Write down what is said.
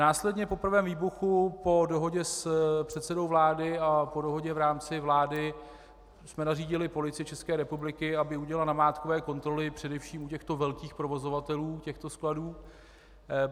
Následně po prvém výbuchu po dohodě s předsedou vlády a po dohodě v rámci vlády jsme nařídili Policii České republiky, aby udělala namátkové kontroly především u těchto velkých provozovatelů těchto skladů.